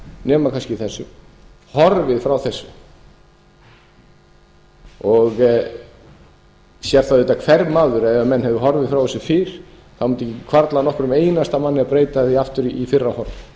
nema kannski þessu horfið frá þessu það sér það auðvitað hver maður að ef menn hefðu horfið frá þessu fyrr mundi ekki hvarfla að nokkrum einasta manni að breyta því aftur í fyrra horf